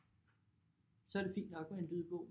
Så er det fint nok med en lydbog